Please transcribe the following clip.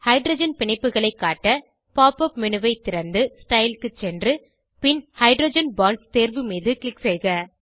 hydrogen பிணைப்புகளை காட்ட pop up menu ஐ திறந்து ஸ்டைல் க்கு சென்று பின் ஹைட்ரோஜன் பாண்ட்ஸ் தேர்வு மீது க்ளிக் செய்க